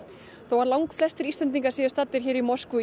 þó að langflestir Íslendingar staddir í Moskvu